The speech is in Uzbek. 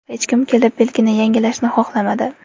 Hech kim kelib, belgini yangilashni xohlamadi.